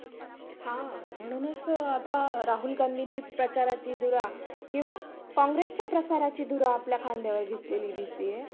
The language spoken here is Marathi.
आणि ग्रंथालयामध्ये अभ्य्साला बसण्याचा आम्हाला एक फायदा झ्हाला कि आम्हाला जर कोणत्या